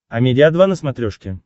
амедиа два на смотрешке